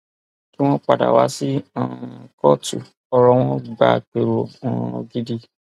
kí wọn padà wá sí um kóòtù ọrọ wọn gba àpérò um gidi